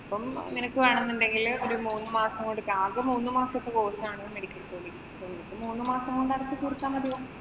ഇപ്പം നിനക്ക് വേണോന്നുണ്ടെങ്കില് ഒരു മൂന്നുമാസം കൊടുക്കാം. അകെ മൂന്നുമാസത്തെ course ആണ് medical coding മൂന്ന് മാസം കൊണ്ട് അടച്ചു തീര്‍ത്താ മതിയാവും.